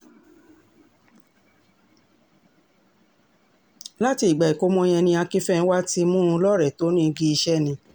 láti ìgbà ìkọ́mọ yẹn ni akinfénwà ti mú un lọ́rẹ̀ẹ́ tó ní igi iṣẹ́ ni